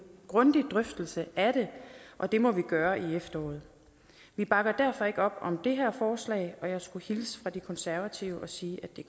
grundig drøftelse af det og det må vi gøre i efteråret vi bakker derfor ikke op om det her forslag og jeg skulle hilse fra de konservative og sige